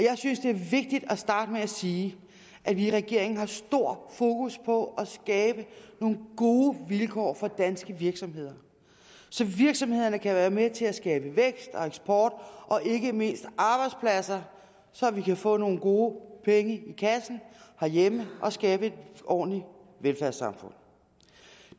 jeg synes det er vigtigt at starte med at sige at vi i regeringen har stor fokus på at skabe nogle gode vilkår for danske virksomheder så virksomhederne kan være med til at skabe vækst og eksport og ikke mindst arbejdspladser så vi kan få nogle gode penge i kassen herhjemme og skabe et ordentligt velfærdssamfund